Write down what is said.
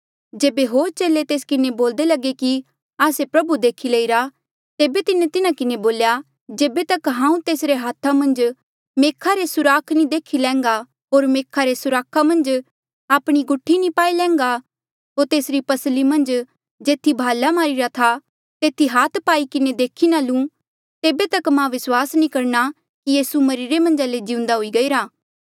जेबे होर चेले तेस किन्हें बोल्दे लगे कि आस्से प्रभु देखी लईरा तेबे तिन्हें तिन्हा किन्हें बोल्या जेबे तक हांऊँ तेसरे हाथा मन्झ मेखा रे सुराख नी देखी लैंघा होर मेखा रे सुराखा मन्झ आपणी गुठी नी पाई लैंघा होर तेसरी पसली मन्झ जेथी भाले री मारिरा था तेथी हाथ पाई किन्हें नी देखी लू तेबे तक मां विस्वास नी करणा कि यीसू मरिरे मन्झा ले जिउंदा हुई गईरा